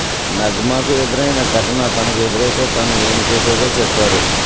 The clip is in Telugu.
నగ్మాకు ఎదురైన ఘటన తనకు ఎదురైతే తాను ఏం చేసేదో చెప్పారు